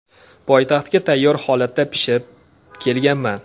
Poytaxtga tayyor holatda pishib kelganman.